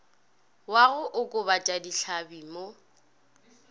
wa go okobatša dihlabi mo